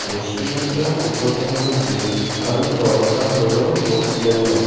রেস্টুরেণ্টার উপরটা হইল গ্রে আর তলটা হইল ইয়েলো ।